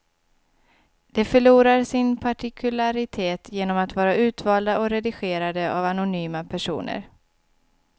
De förlorar sin partikularitet genom att vara utvalda och redigerade av anonyma personer.